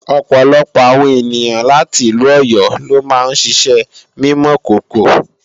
ọ̀pọ̀lọpọ̀ àwọn ènìyàn láti ìlú Ọ̀yọ́ lo máa ń ṣiṣẹ́ mímọ̀kòkò